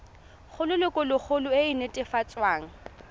go lelokolegolo e e netefatsang